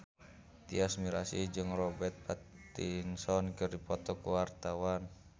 Tyas Mirasih jeung Robert Pattinson keur dipoto ku wartawan